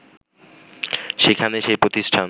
সেখানে সেই প্রতিষ্ঠান